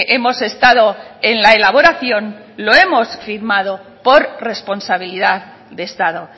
hemos estado en la elaboración lo hemos firmado por responsabilidad de estado